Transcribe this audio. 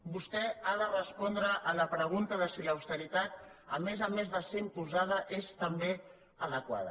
vostè ha de respondre a la pregunta de si l’austeritat a més a més de ser imposada és també adequada